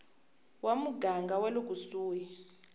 wa muganga wa le kusuhi